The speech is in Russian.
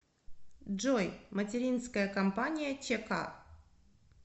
джой материнская компания чк